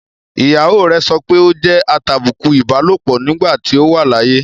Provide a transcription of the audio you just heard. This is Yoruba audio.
ìyàwó rẹ̀ sọpé ó jẹ́ atàbùkù ìbálòpọ̀ nígbà tí ó wà láyé.